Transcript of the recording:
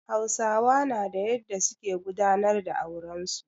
Hausawa na da yadda su ke gudanar da auren su.